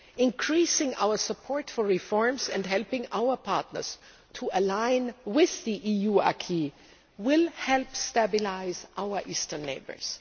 Increasing our support for reforms and helping our partners to align with the EU acquis will help stabilise our eastern neighbours.